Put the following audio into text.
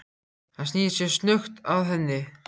Hann snýr sér snöggt að henni.